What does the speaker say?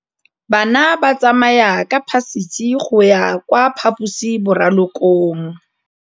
Bana ba tsamaya ka phašitshe go ya kwa phaposiborobalong.